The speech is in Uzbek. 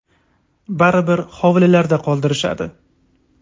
Baribir hovlilarda qoldirishadi”.